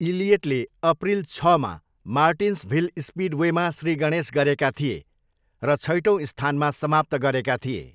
इलियटले April छमा मार्टिन्सभिल स्पिडवेमा श्रीगणेश गरेका थिए र छैटौँ स्थानमा समाप्त गरेका थिए।